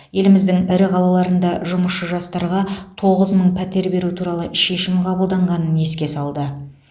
еліміздің ірі қалаларында жұмысшы жастарға тоғыз мың пәтер беру туралы шешім қабылданғанын еске салды